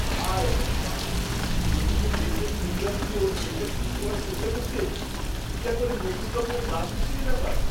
হায় ভগবান, রবিকে দেখলে চুইংগাম দিয়ে ওর পেনটা ঠিক করার চেষ্টা করতে? এ তো একেবারে নতুন রকমের গা শিরশিরে ব্যাপার।